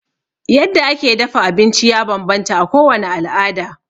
Yadda ake dafa abinci ya bambanta a kowane al'ada.